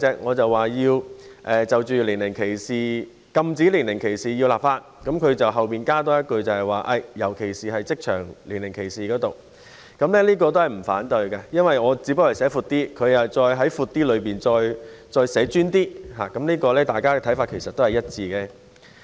我提出要立法禁止職場年齡歧視行為，而他則在後面多加一句尤其是職場年齡歧視，所以我亦不反對這項建議，因為我把範圍寫得闊一點，而他只是在我的建議範圍內稍為再集中一點，大家的想法其實是一致的。